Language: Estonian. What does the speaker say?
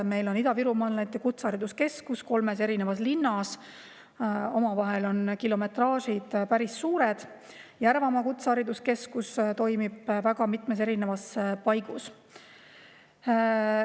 Meil on Ida-Virumaa Kutsehariduskeskus kolmes linnas, nende vahel on kilometraažid päris suured, ka Järvamaa Kutsehariduskeskus toimib väga mitmes paigas.